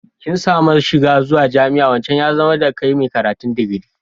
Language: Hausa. Kin samu shiga zuwa jami'a, wancan ya zama da kai mai karatun digiri.